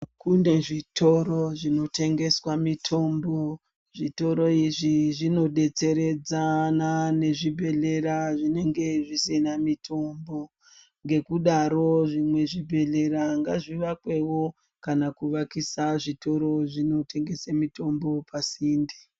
Kune zvitoro zvinotengeswa mitombo zvitoro izvi zvinobetseredzana nezvibhedhlera zvinenge zvisina mitombo nekudaro zvimwe zvibhedhlera ngazvivakwewo kana kuvakisa zvitoro zvinotengese mitombo pasinde .